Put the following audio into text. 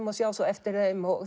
og sjá svo eftir þeim